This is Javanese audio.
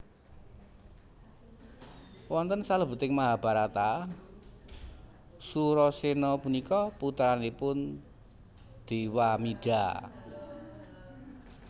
Wonten salebeting Mahabharata Surasena punika putranipun Dewamida